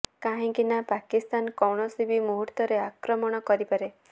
କାହିଁକି ନା ପାକିସ୍ତାନ କୌଣସି ବି ମୁହୂର୍ତ୍ତରେ ଆକ୍ରମଣ କରିପାରେ